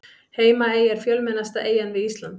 Heimaey er fjölmennasta eyjan við Ísland.